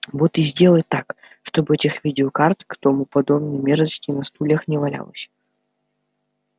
вот и сделай так чтобы этих видеокарт к тому подобной мерзости на стульях не валялось